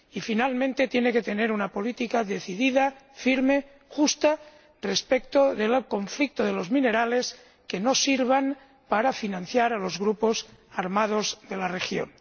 Y, finalmente, tiene que tener una política decidida, firme, justa respecto del conflicto de los minerales que no sirvan para financiar a los grupos armados de la región.